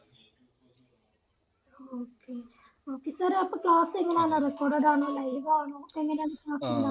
okay okay sir അപ്പോ class എങ്ങനാന്ന് recorded ആണോ live ആണോ എങ്ങനാന്ന്